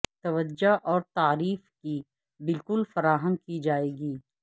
توجہ اور تعریف کے بالکل فراہم کی جائے گی